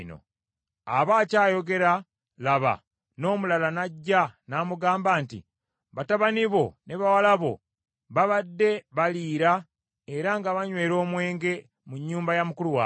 Aba akyayogera, laba, n’omulala n’ajja n’amugamba nti, “Batabani bo ne bawala bo babadde baliira era nga banywera omwenge mu nnyumba ya mukulu waabwe,